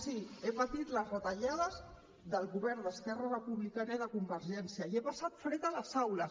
sí he patit les retallades del govern d’esquerra republicana i de convergència i he passat fred a les aules